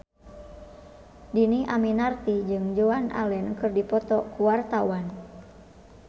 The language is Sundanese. Dhini Aminarti jeung Joan Allen keur dipoto ku wartawan